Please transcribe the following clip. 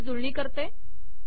मी याची जुळणी करते